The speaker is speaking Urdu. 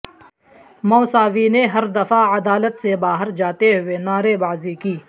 موساوی نے ہر دفعہ عدالت سے باہر جاتے ہوئے نعرے بازی کی